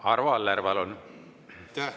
Arvo Aller, palun!